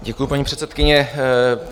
Děkuji, paní předsedkyně.